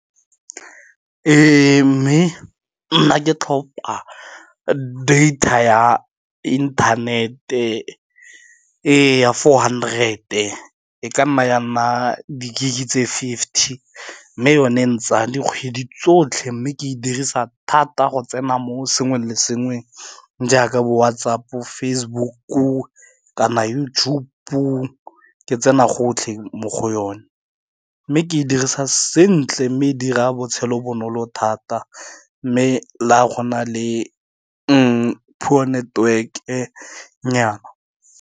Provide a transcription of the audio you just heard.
E mme nna ke tlhopa data ya internet-e, e ya four hundred-e e ka nna ya nna di-gig tse fifty mme yone e ntsaya dikgwedi tsotlhe mme ke e dirisa thata go tsena mo sengwe le sengweng, jaaka bo-WhatsApp, Facebook-u, kana YouTube ke tsena gotlhe mo go yone, mme ke e dirisa sentle mme dira botshelo bonolo thata mme le ga gona le poor network-e nnyaa.